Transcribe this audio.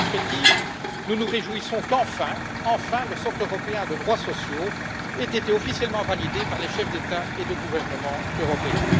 Dans cette perspective, nous nous réjouissons qu'enfin, le socle européen de droits sociaux ait été officiellement validé par les chefs d'État ou de gouvernement européens.